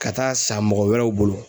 Ka taa san mɔgɔ wɛrɛw bolo.